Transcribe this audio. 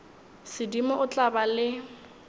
sedimo o tla ba le